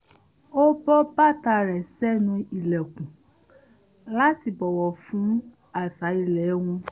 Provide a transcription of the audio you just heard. ó bọ́ bàtà rẹ̀ sẹ́nu ìlẹ̀kùn láti bọ̀wọ̀ fún àṣà ilé wọn